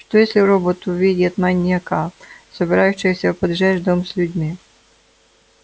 что если робот увидит маньяка собирающегося поджечь дом с людьми